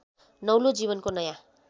नौलो जीवनको नयाँ